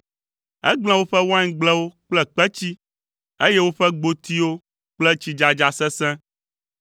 Egblẽ woƒe waingblewo kple kpetsi, eye woƒe gbotiwo kple tsidzadza sesẽ.